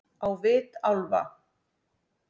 Á vit álfa-